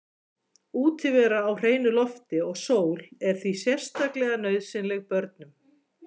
Útivera í hreinu lofti og sól er því sérstaklega nauðsynleg börnum.